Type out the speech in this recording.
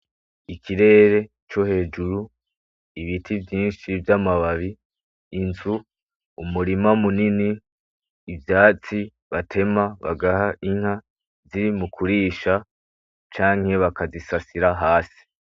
Ikirere co hejuru, ibiti vyinshi vy'amababi, inzu, umurima munini, ivyatsi batema bagaha inka ziri mu kurisha canke bakazisasira hasi.